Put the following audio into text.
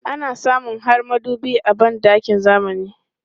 Ana samun har madubi a ban ɗakin zamani.